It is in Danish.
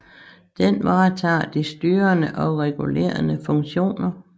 Den varetager de styrende og regulerende funktioner